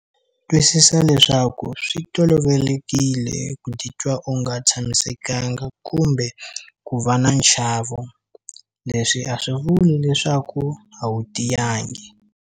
Twisisa leswaku swi tolovekile ku titwa u nga tshamisekanga kumbe ku va na nchavo. Leswi a swi vuli leswaku a wu tiyangi.